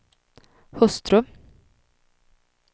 hustru